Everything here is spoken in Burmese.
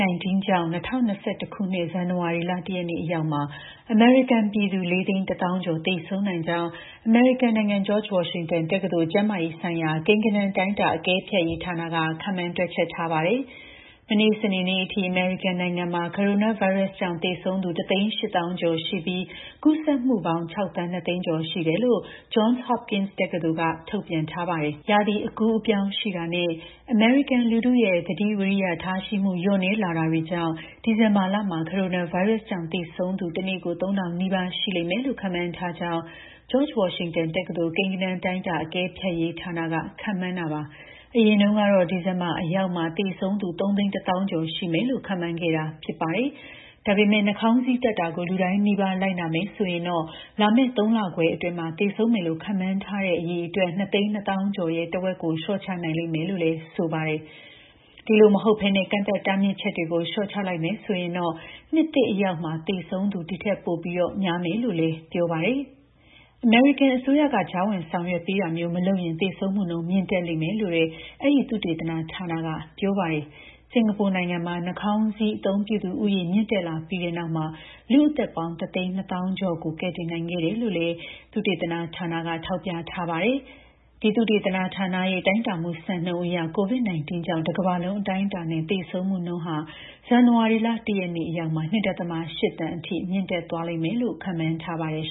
-19 ကြောင့် ၂၀၂၁ ခုနှစ် ဇန်နဝါရီလ ၁ ရက်နေ့ အရောက်မှာ အမေရိကန်ပြည်သူ ၄၁၀,၀၀၀ ကျော် သေဆုံးနိုင်ကြောင်း အမေရိကန်နိုင်ငံ George Washington တက္ကသိုလ် ကျန်းမာရေးဆိုင်ရာ ကိန်းဂဏန်း တိုင်းတာအကဲဖြတ်ရေးဌာနက ခန့်မှန်း တွက်ချက်ထားပါတယ်။ မနေ့ စနေနေ့အထိ အမေရိကန်နိုင်ငံမှာ ကိုရိုနာဗိုင်းရပ်စ်ကြောင့် သေဆုံးသူ ၁၈၀,၀၀၀ ကျော်ရှိပြီး ကူးစက်မှုပေါင်း ၆,၂၀၀,၀၀၀ ကျော်ရှိတယ်လို့ Johns Hopkins တက္ကသိုလ်က ထုတ်ပြန်ထားတာပါ။ ရာသီအကူးအပြောင်းရှိတာနဲ့ အမေရိကန်လူထုရဲ့ သတိဝီရိယ ထားရှိမှု လျော့နည်းလာတာတွေကြောင့် ဒီဇင်ဘာလမှာ ကိုရိုနာဗိုင်းရပ်စ်ကြောင့် သေဆုံးသူ တနေ့ ၃,၀၀၀ နီးပါး ရှိလိမ့်မယ်လို့ ခန့်မှန်းထားကြောင်း George Washington တက္ကသိုလ် ကိန်းဂဏန်း တိုင်းတာအကဲဖြတ်ရေးဌာနက ခန့်မှန်းတာပါ။ အရင်တုန်းကတော့ ဒီဇင်ဘာအရောက် သေဆုံးသူ ၃၁၀,၀၀၀ ကျော်ရှိမယ်လို့ ခန့်မှန်းထားခဲ့တာ ဖြစ်ပါတယ်။ ဒါပေမယ့် နှာခေါင်းစည်းတပ်တာကို လူတိုင်းနီးပါး လိုက်နာမယ်ဆိုရင်တော့ လာမယ့် ၃ လခွဲအတွင်း သေဆုံးမယ်လို့ ခန့်မှန်းထားတဲ့ အရေအတွက် ၂၂၀,၀၀၀ ကျော်ရဲ့ ထက်ဝက် လျှော့ချနိုင်လိမ့်မယ်လို့လည်း ဆိုပါတယ်။ အဲဒီလိုမှမဟုတ်ဘဲ ကန့်သတ်တားမြစ်ချက်တွေ လျှော့ချလိုက်မယ်ဆိုရင်တော့ နှစ်သစ်အရောက်မှာ သေဆုံးသူ ဒီ့ထက်ပိုများလိမ့်မယ်လို့လည်း ပြောပါတယ်။ အမေရိကန်အစိုးရက ကြားဝင် ဆောင်ရွက်ပေးတာမျိုး မလုပ်ရင် သေဆုံးမှုနှုန်း မြင့်တက်လိမ့်မယ်လို့လည်း အဲဒီ သုတေသနဌာနက ပြောပါတယ်။ စင်ကာပူနိုင်ငံမှာ နှာခေါင်းစည်း အသုံးပြုသူဦးရေ မြင့်တက်လာပြီးတဲ့နောက်မှာ လူ့အသက်ပေါင်း ၁၂၀,၀၀၀ ကျော်ကို ကယ်တင်နိုင်ခဲ့တယ်လို့လည်း အဲဒီ သုတေသနဌာနက ထောက်ပြထားပါတယ်။ သုတေသနဌာနရဲ့ တိုင်းတာမှုစံနှုန်းအရ COVID-19 ကြောင့် တကမ္ဘာလုံး အတိုင်းအတာနဲ့ သေဆုံးမှုနှုန်းကလည်း ဇန်နဝါရီလ ၁ ရက်နေ့ အရောက်မှာ ၂.၈ သန်းအထိ မြင့်တက်သွားမယ်လို့ ခန့်မှန်းထားပါတယ်